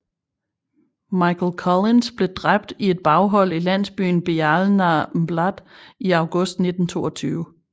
Michael Collins blev dræbt i et baghold i landsbyen Béal na mBláth i august 1922